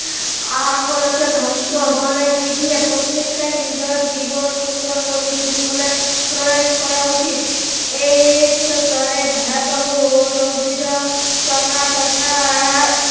অকালতে ধ্বংস হবলৈ নিদিয়ে প্ৰতেকটোৱে নিজৰ জীৱন সুন্দৰ কৰি তুলিবলৈ প্ৰয়াস কৰা উচিত । AIDS ৰ দৰে ভয়াবহ ৰোগ বিধক সংঘাৰ তথা